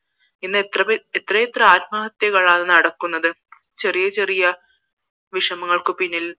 ഇന്നെത്രയെത്ര ആത്മഹത്യകളാണ് നടക്കുന്നത് ചെറിയ ചെറിയ വിഷമങ്ങൾക്കു പിന്നിൽ